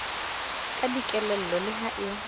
ka dikelello le ha e